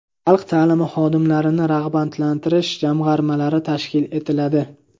Xalq ta’limi xodimlarini rag‘batlantirish jamg‘armalari tashkil etiladi.